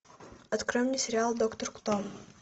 открой мне сериал доктор кто